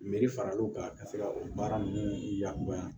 faral'o kan ka se ka o baara ninnu yakubaya